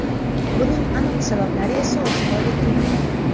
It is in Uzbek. Buning aniq sabablari esa oshkor etilmagan.